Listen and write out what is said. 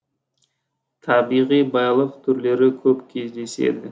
табиғи байлық түрлері көп кездеседі